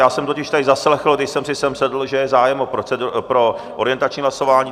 Já jsem totiž tady zaslechl, když jsem si sem sedl, že je zájem o orientační hlasování.